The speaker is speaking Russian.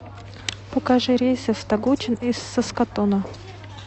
покажи рейсы в тогучин из саскатуна